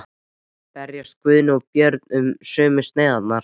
Berjast Guðni og Björn um sömu sneiðarnar?